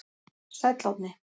Sæll Árni.